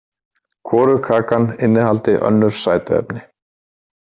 Hvorug kakan innihaldi önnur sætuefni.